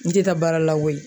N tɛ taa baara la koyi